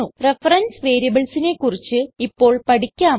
reference variablesനെ കുറിച്ച് ഇപ്പോൾ പഠിക്കാം